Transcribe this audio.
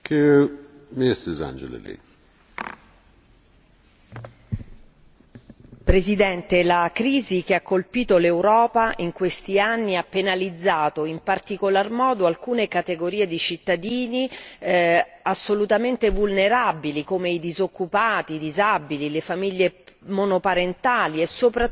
Signor Presidente, la crisi che ha colpito l'Europa in questi anni ha penalizzato in particolar modo alcune categorie di cittadini assolutamente vulnerabili, come i disoccupati, i disabili, le famiglie monoparentali e soprattutto i giovani.